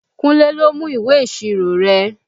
Kúnlé ló mú ìwé ìṣirò rẹ